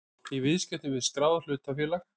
í viðskiptum við skráð hlutafélag.